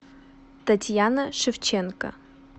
татьяна шевченко